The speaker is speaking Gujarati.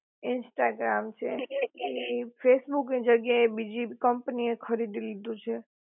ઇન્સ્ટાગ્રામ છે એ ફેસબુક ની જગ્યા એ બીજી કંપની એ ખરીદી લીધું છે